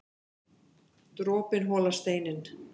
Dropinn holar steininn